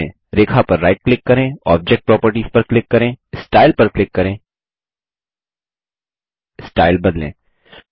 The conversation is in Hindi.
रेखा पर राइट क्लिक करें ऑब्जेक्ट प्रॉपर्टीज पर क्लिक करें स्टाइल पर क्लिक करें स्टाइल बदलें